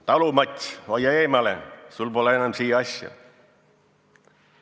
Talumats, hoia eemale, sul pole enam siia asja!